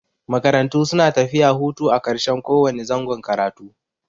Makarantu suna tafiya hutu a ƙarshen ko wane zangon karatu.